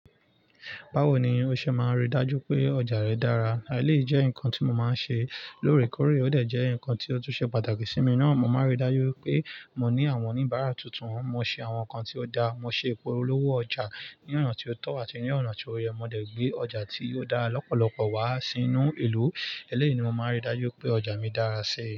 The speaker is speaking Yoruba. Báwo ni o ṣe máa rí i dájú pé ọjà rẹ dára? Eleyii jẹ́ nǹkan tí mo máa ń ṣe lóòrèkóòrè, ó dẹ̀ jẹ́ nǹkan tí ó tún ṣe pàtàkì sí mi náà. Mo máa ń rí i dájú pé mo ní àwọn oníbàárà tuntun, mo ṣe àwọn nǹkan tí ó da, mo ṣe ìpolówó ọjà ní ọ̀nà tí ó tọ́ àti ní ọ̀nà tí ó yẹ, mo dẹ̀ gbé ọjà tí ò dára lọ́pọ̀lọpọ̀ wá sínú ìlú. Eleyii ni mo máa ń rí i dájú pé ọjà mi dára sí i.